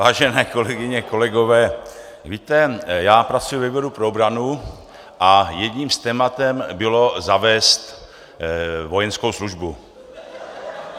Vážené kolegyně, kolegové, víte, já pracuji ve výboru pro obranu a jedním z témat bylo zavést vojenskou službu.